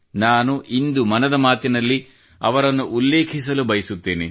ನಾನು ಇಂದು ಮನದ ಮಾತಿನಲ್ಲಿ ಅವರನ್ನು ಉಲ್ಲೇಖಿಸಲು ಬಯಸುತ್ತೇನೆ